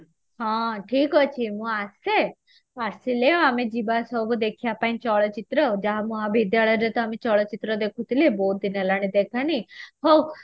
ହଁ ଠିକ ଅଛି ମୁଁ ଆସିଲେ ଆମେ ଯିବା ସବୁ ଦେଖିବା ପାଇଁ ଚଳଚିତ୍ର ଯାହା ମହାବିଦ୍ୟାଳୟ ରେ ତ ଆମେ ଚଳଚିତ୍ର ଦେଖୁଥିଲେ ବହୁତ ଦିନ ହେଲାଣି ଦେଖାହେଇନି ହଉ